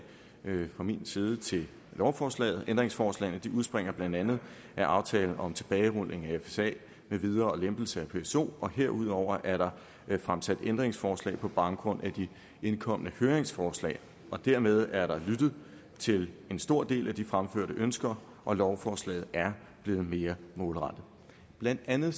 fra min side til lovforslaget ændringsforslagene udspringer blandt andet af aftale om tilbagerulning af fsa med videre og lempelser af pso og herudover er der fremsat ændringsforslag på baggrund af de indkomne høringsforslag dermed er der lyttet til en stor del af de fremførte ønsker og lovforslaget er blevet mere målrettet blandt andet